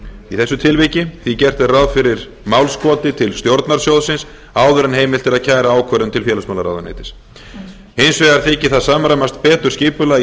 í þessu tilviki því gert er ráð fyrir málskoti til stjórnar sjóðsins áður en heimilt er að kæra ákvörðun til félagsmálaráðuneytisins hins vegar þykir það samræmast betur skipulagi